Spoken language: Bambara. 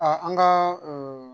an ka